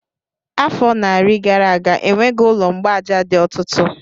Afọ narị gara aga, enweghị ụlọ mgbaaja dị otutu